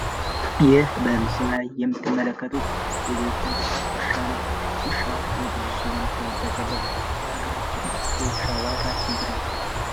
ይህ በምስሉ ላይ የምትመለከቱት የቤት እንስሳት ውሻ ነው። ዉሻ በብዙዎች ዘንድ ተወዳጅነት አለው። በሀገራችን የዉሻ ዋጋ ስንት ነው?